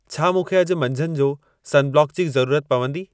छा मूंखे अॼु मंझंद जो सनब्लॉक जी ज़रूरत पवंदी